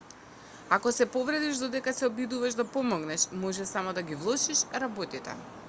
ако се повредиш додека се обидуваш да помогнеш може само да ги влошиш работите